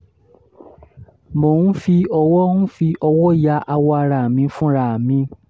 mò ń fi ọwọ́ ń fi ọwọ́ ya awọ ara mi fúnra mi